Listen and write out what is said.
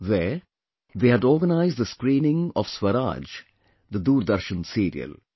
There, they had organised the screening of 'Swaraj', the Doordarshan serial